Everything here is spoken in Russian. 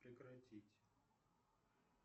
прекратить